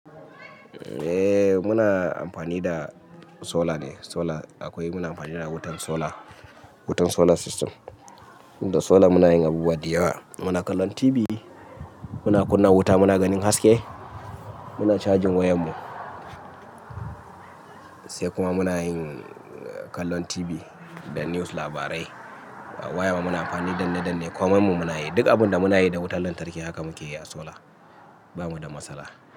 Eh muna amfani da solar ne, solar akwai muna amfani da wutan solar, wutan solar system, da solar muna yin abubuwa da yawa. Muna kallon TV, muna kunna wuta, muna ganin haske, muna charging wayan mu. Sai kuma muna yin kallon TV da news labarai. Waya ma muna amfani danne danne komai mu muna yi, duk abun da muna yi da wutar lantarki haka muke yi a solar. Ba mu da matsala.